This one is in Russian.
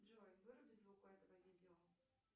джой выруби звук у этого видео